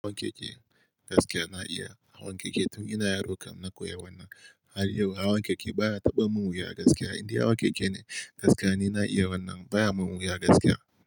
Hawan keke gaskiya na iya hawan keke tun ina yaro kam na koya wannan. Har yau hawan keke baya taɓa mun wuya gaskiya, inda hawan keke ne gaskiya ni na iya wannan baya mun wuya gaskiya.